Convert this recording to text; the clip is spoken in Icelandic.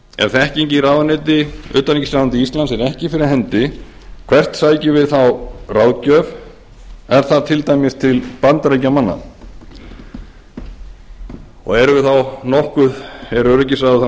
ef þekking í utanríkisráðuneyti íslands er ekki fyrir hendi hvert sækjum við þá ráðgjöf er það til dæmis til bandaríkjamanna er öryggisráðið þá